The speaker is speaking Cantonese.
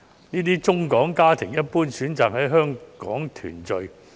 這些中港家庭，一般選擇在香港團聚。